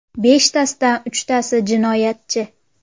Beshtasidan uchtasi jinoyatchi.